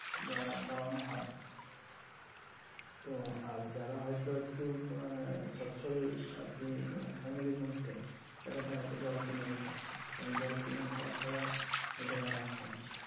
বা দেওয়ানো হয়। তো আর যারা হয়তো একটু আহ সচ্ছল আর কি আহ family এর মধ্যে তারা তো জল কিনেই খাচ্ছে কারণ জল কিনে খাওয়া ছাড়া ওদের আর রাস্তা নেই।